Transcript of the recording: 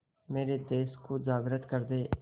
मेरे देश को जागृत कर दें